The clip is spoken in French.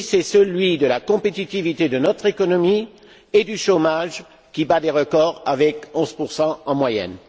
Le défi, c'est celui de la compétitivité de notre économie et du chômage, qui bat des records avec 11 en moyenne.